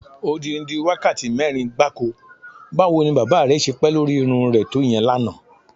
Odidi wákàtí mé̩rin gbáko! Báwo ni bábà re̩ s̩e pé̩ lórí irún re̩ to ìye̩n lánàá?